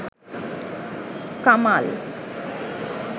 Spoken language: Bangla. কামাল